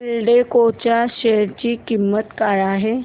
एल्डेको च्या शेअर ची किंमत काय आहे